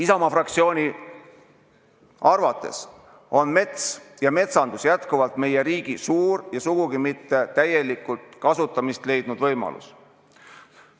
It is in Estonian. Isamaa fraktsiooni arvates on mets ja metsandus jätkuvalt meie riigi suur ja sugugi mitte täielikult kasutamist leidnud võimalus.